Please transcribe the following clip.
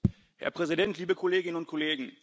Herr Präsident, liebe Kolleginnen und Kollegen!